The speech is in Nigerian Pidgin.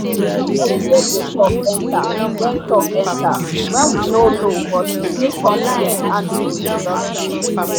the person wey go talk enter when talk enter when we no know but we take confidence handle the introductions